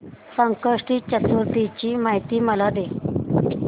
संकष्टी चतुर्थी ची मला माहिती दे